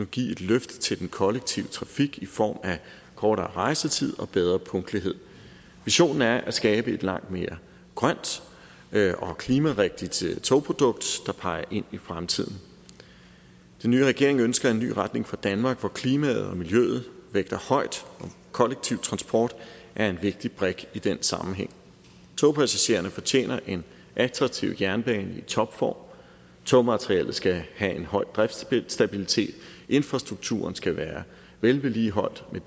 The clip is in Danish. give et løft til den kollektive trafik i form af kortere rejsetid og bedre punktlighed visionen er at skabe et langt mere grønt og klimarigtigt togprodukt der peger ind i fremtiden den nye regering ønsker en ny retning for danmark hvor klimaet og miljøet vægter højt og kollektiv transport er en vigtig brik i den sammenhæng togpassagererne fortjener en attraktiv jernbane i topform togmaterialet skal have en høj driftsstabilitet infrastrukturen skal være vedligeholdt med